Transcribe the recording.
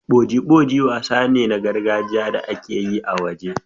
Boji-boji wasa ne na gargajiya da ake yi a waje.